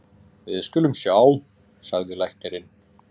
Við skulum sjá, sagði læknirinn.